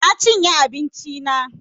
Na chinye abinchi na